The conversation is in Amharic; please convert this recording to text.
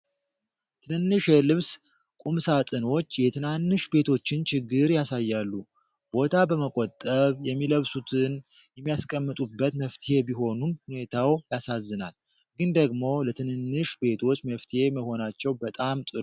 ትንንሽ የልብስ ቁምሳጥኖች የትናንሽ ቤቶችን ችግር ያሳያሉ። ቦታ በመቆጠብ የሚለብሱትን የሚያስቀምጡበት መፍትሔ ቢሆኑም ሁኔታው ያሳዝናል። ግን ደግሞ ለትንንሽ ቤቶች መፍትሄ መሆናቸው በጣም ጥሩ ነገር ነው።